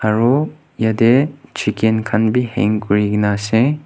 aru yate chicken khan bhi hang kuri ke na ase.